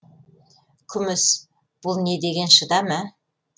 күміс бұл не деген шыдам ә